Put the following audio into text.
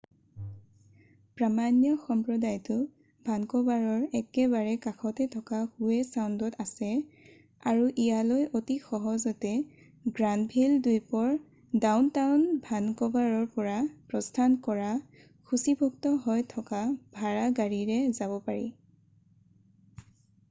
প্ৰামাণ্য সম্প্ৰদায়টো ভানক'ভাৰৰ একেবাৰে কাষতে থকা হোৱে চাউণ্ডত আছে আৰু ইয়ালৈ অতি সহজতে গ্ৰানভিল দ্বীপৰ ডাউনটাউন ভানক'ভাৰৰ পৰা প্ৰস্থান কৰা সূচীভুক্ত হৈ থকা ভাড়া গাড়ীৰে যাব পাৰি